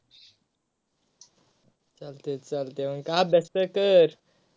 चालतय चालतय आणि काय अभ्यास तर कर.